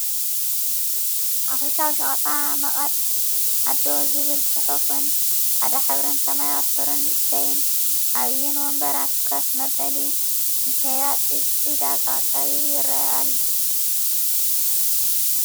ሓፈሻዊ ሸቀጣመቀጥ ኣዶ ዝብል ፅሑፍን ፃዕዳ ሕብርን ሰማያዊ ሕብሪን ንእሽተይን ዓብይን ወንበራት ከፍ መበሊ ንሽያጥ ዒዳጋ ቀሪቡ ይርኣይ ኣሎ ።